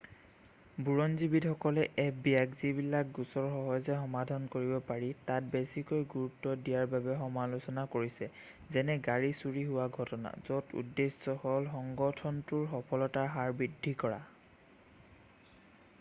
বুৰঞ্জীবিদসকলে fbiক যিবিলাক গোচৰ সহজে সমাধান কৰিব পাৰি তাত বেছিকৈ গুৰুত্ব দিয়াৰ বাবে সমালোচনা কৰিছে যেনে গাড়ী চুৰি হোৱা ঘটনা য'ত উদ্দেশ্যে হ'ল সংগঠনটোৰ সফলতাৰ হাৰ বৃদ্ধি কৰা।